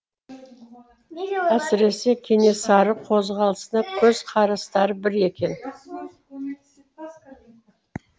әсіресе кенесары қозғалысына көзқарастары бір екен